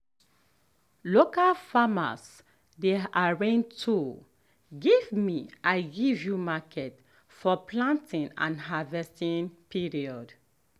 local farmers dey arrange tool give me i give you market for planting and harvesting period.